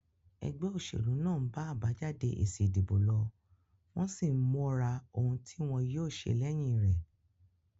Egbé òsèlú náà n ba àbájáde èsì ìdìbò lo, wón sín móra oun tí wón yío se léyin rè